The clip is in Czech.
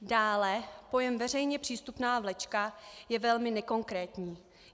Dále, pojem veřejně přístupná vlečka je velmi nekonkrétní.